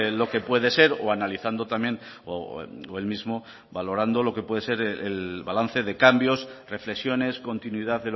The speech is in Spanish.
lo que puede ser o analizando también o el mismo valorando lo que puede ser el balance de cambios reflexiones continuidad